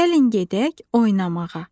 Gəlin gedək oynamağa.